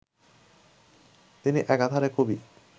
তিনি একাধারে কবি